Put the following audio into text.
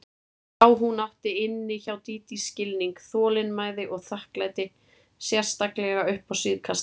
Já, hún átti inni hjá Dídí skilning, þolinmæði og þakklæti, sérstaklega upp á síðkastið.